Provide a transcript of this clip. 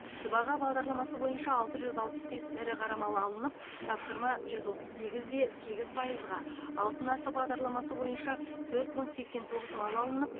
сыбаға бағдарламасы бойынша алты жүз алпыс бес ірі қара мал алынып тапсырма жүз отыз сегізде сегіз пайызға алтын асық бағдарламасы бойынша төрт мың сексен тоғыз мал алынып